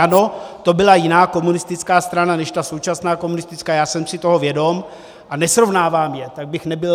Ano, to byla jiná komunistická strana než ta současná komunistická, já jsem si toho vědom a nesrovnávám je, tak bych nebyl...